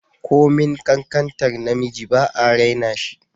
Komin kankantar namiji ba'a raina shi